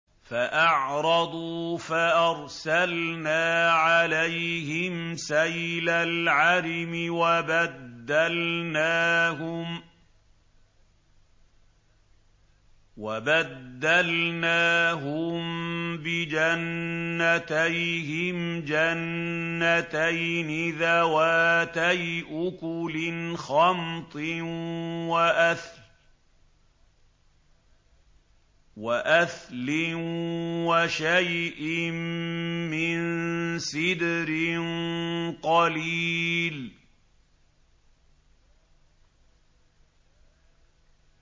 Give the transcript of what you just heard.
فَأَعْرَضُوا فَأَرْسَلْنَا عَلَيْهِمْ سَيْلَ الْعَرِمِ وَبَدَّلْنَاهُم بِجَنَّتَيْهِمْ جَنَّتَيْنِ ذَوَاتَيْ أُكُلٍ خَمْطٍ وَأَثْلٍ وَشَيْءٍ مِّن سِدْرٍ قَلِيلٍ